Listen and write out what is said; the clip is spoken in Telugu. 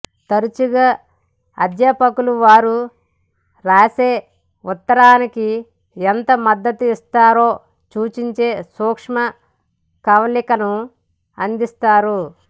తరచుగా అధ్యాపకులు వారు వ్రాసే ఉత్తరానికి ఎంత మద్దతు ఇచ్చారో సూచించే సూక్ష్మ కవళికలను అందిస్తారు